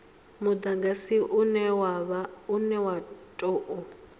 mudagasi une wa u tou